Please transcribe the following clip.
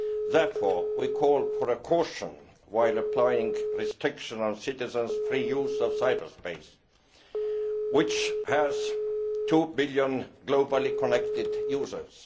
Therefore, we call for caution while applying restrictions on citizens' free use of cyber space, which has two billion globally connected users.